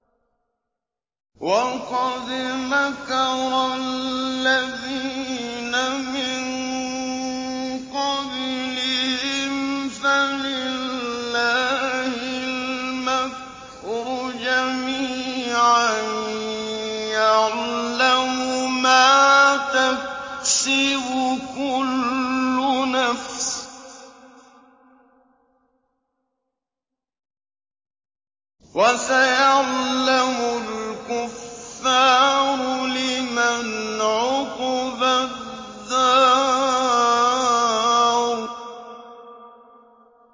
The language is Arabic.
وَقَدْ مَكَرَ الَّذِينَ مِن قَبْلِهِمْ فَلِلَّهِ الْمَكْرُ جَمِيعًا ۖ يَعْلَمُ مَا تَكْسِبُ كُلُّ نَفْسٍ ۗ وَسَيَعْلَمُ الْكُفَّارُ لِمَنْ عُقْبَى الدَّارِ